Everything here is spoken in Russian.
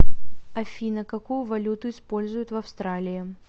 афина какую валюту используют в австралии